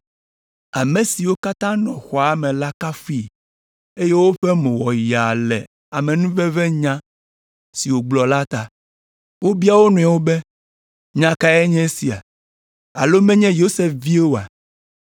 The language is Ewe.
Ame siwo katã nɔ xɔa me la kafui, eye woƒe mo wɔ yaa le amenuvevenya siwo wògblɔ la ta. Wobia wo nɔewo be, “Nya kae nye esia? Alo menye Yosef vie oa?”